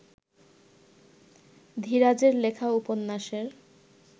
ধীরাজের লেখা উপন্যাসের